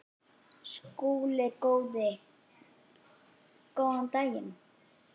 SKÚLI: Góðan daginn!